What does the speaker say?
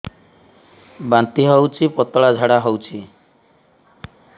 ବାନ୍ତି ହଉଚି ପତଳା ଝାଡା ହଉଚି